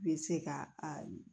Bɛ se ka a